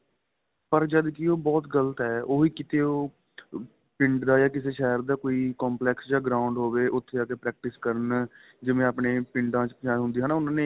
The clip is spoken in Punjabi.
ਪਰ ਜਦਕਿ ਉਹ ਗ਼ਲਤ ਏ ਉਹ ਵੀ ਕਿਥੇ ਉਹ ਪਿੰਡ ਦਾ ਜਾਂ ਕਿਸੇ ਸ਼ਹਿਰ ਦਾ ਕੋਈ complex ਜਾਂ ground ਹੋਵੇ ਉਥੇ ਜਾਕੇ practice ਕਰਨ ਜਿਵੇਂ ਆਪਣੇਂ ਪਿੰਡਾ ਚ ਉਹਨਾ ਨੇ